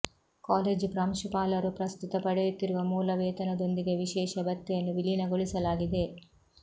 college ಪ್ರಾಂಶುಪಾಲರು ಪ್ರಸ್ತುತ ಪಡೆಯುತ್ತಿರುವ ಮೂಲ ವೇತನದೊಂದಿಗೆ ವಿಶೇಷ ಭತ್ಯೆಯನ್ನು ವಿಲೀನಗೊಳಿಸಲಾಗಿದೆ